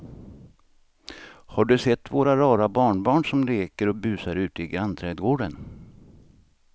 Har du sett våra rara barnbarn som leker och busar ute i grannträdgården!